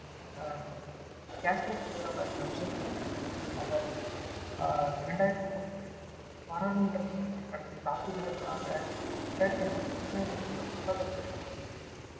ஆஹ் காஷ்மீர் தீவிரவாதி அப்சல் குருவிற்கு அவர் ஆஹ் இரண்டாயிரத்தி ஒன்றில் பாராளுமன்றத்தின் மீது நடத்திய தாக்குதலுக்காக இரண்டாயிரத்து நான்கில் உச்சநீதிமன்றம் மரண தண்டனை வழங்கியது